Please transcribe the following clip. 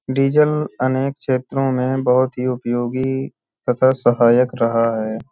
Diesel अनेक क्षेत्रों में बहुत ही उपयोगी तथा सहायक रहा है ।